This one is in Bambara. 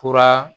Fura